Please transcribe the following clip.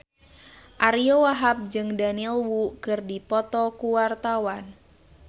Ariyo Wahab jeung Daniel Wu keur dipoto ku wartawan